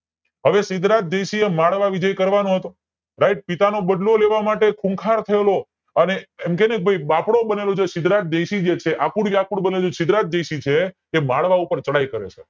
હવે સિદ્ધરાજ જયસિંહ એ મળવા વિજય કરવાનો હતો right પિતા નો બદલો લેવા માટે ખૂંખાર થયેલો અને એમ કેને ભાઈ બાપડો બનેલો સિદ્ધરાજ જયસિંહ જે છે બનેલો સિદ્ધરાજ જયસિંહ છે એ માળવા ઉપર ચડાઈ કરે છે